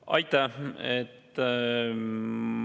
Aitäh!